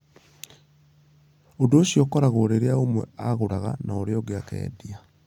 Ũndũ ũcio ũkoragwo rĩrĩa ũmwe agũraga na ũrĩa ũngĩ akĩendia.